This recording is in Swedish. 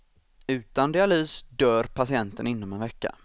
Utan dialys dör patienten inom en vecka.